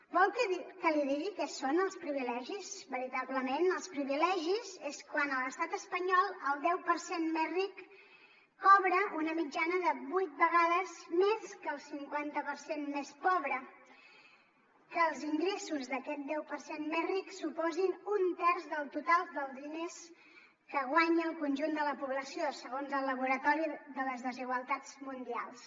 vol que li digui què són els privilegis veritablement els privilegis és quan a l’estat espanyol el deu per cent més ric cobra una mitjana de vuit vegades més que el cinquanta per cent més pobre que els ingressos d’aquest deu per cent més ric suposin un terç del total dels diners que guanya el conjunt de la població segons el laboratori de les desigualtats mundials